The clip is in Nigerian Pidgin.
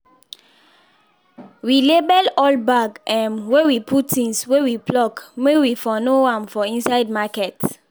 we label all bag um wey we put things wey we pluck may we for know am for inside market